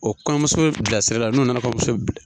O kɔɲɔmuso bilasira la n'o nana kɔɲɔmuso bila.